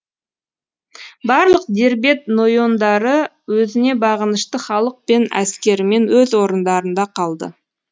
барлық дербет нойондары өзіне бағынышты халық пен әскерімен өз орындарында қалды